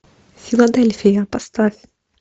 филадельфия поставь